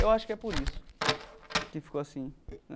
Eu acho que é por isso que ficou assim.